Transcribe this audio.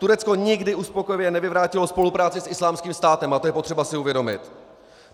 Turecko nikdy uspokojivě nevyvrátilo spolupráci s Islámským státem a to je potřeba si uvědomit.